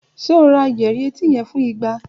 Ṣe o ra yẹrì eti yẹn fun igba?